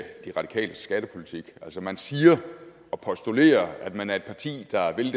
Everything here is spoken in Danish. de radikales skattepolitik man siger og postulerer at man er et parti der vil